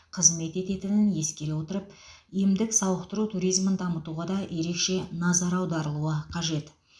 қызмет ететінін ескере отырып емдік сауықтыру туризмін дамытуға да ерекше назар аударылуы қажет